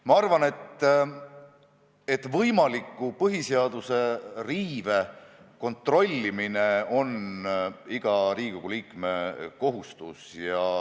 Ma arvan, et võimaliku põhiseaduse riive kontrollimine on iga Riigikogu liikme kohustus.